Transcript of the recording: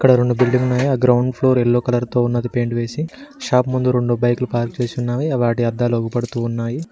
రెండు బిల్డింగ్ మీద ground floor yellow colour తో ఉన్నది పెయింట్ వేసి షాప్ ముందు రెండు బైక్లు పార్కు చేసి ఉన్నవి వాటి అద్దాలు అగుపడుతూ ఉన్నాయి.